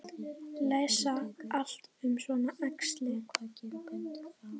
Lesa allt um svona æxli?